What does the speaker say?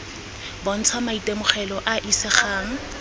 bontsha maitemogelo a a isegang